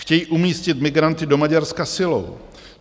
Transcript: Chtějí umístit migranty do Maďarska silou.